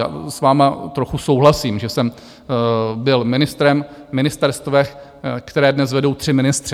A s vámi trochu souhlasím, že jsem byl ministrem na ministerstvech, která dnes vedou tři ministři.